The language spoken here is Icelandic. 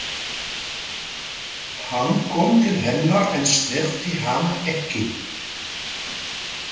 Hann kom til hennar en snerti hana ekki.